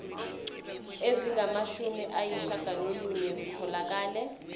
ezingamashumi ayishiyagalolunye zitholakele